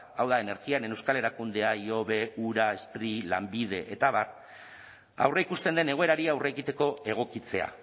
hau da energiaren euskal erakundea ihobe ura spri lanbide eta abar aurreikusten den egoerari aurre egiteko egokitzea